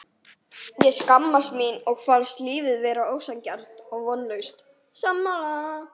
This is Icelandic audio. Ég skammaðist mín og fannst lífið vera ósanngjarnt og vonlaust.